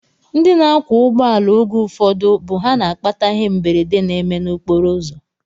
Ndị na-akwọ ụgbọala oge ụfọdụ bụ ha na-akpata ihe mberede na-eme n'okporoụzọ